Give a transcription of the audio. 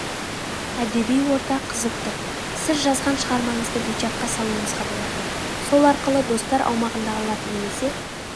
әдеби орта қызып тұр сіз жазған шығармаңызды вичатқа салуыңызға болады сол арқылы достар аумағындағылар немесе